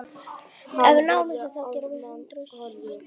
Hann reyndist vera Alma-Ata, höfuðborg